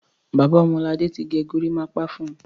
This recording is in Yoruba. Bàbá Ọmọladé ti gẹ gorímápá fún un.